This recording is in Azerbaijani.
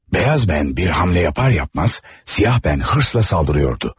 Bəyaz bən bir hamlə yapar yapmaz, Siyah bən hırsla saldırıyordu.